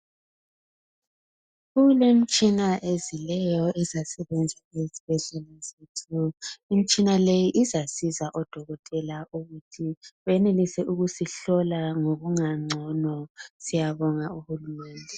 Kulemtshina ezileyo ezasebenza ezibhedlela zethu. Imtshina le izasiza odokotela ukuthi benelise ukusihlola ngokungangcono. Siyabonga uhulumende.